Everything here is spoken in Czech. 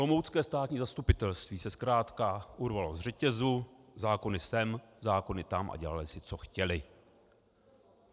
Olomoucké státní zastupitelství se zkrátka urvalo z řetězu, zákony sem, zákony tam, a dělali si, co chtěli.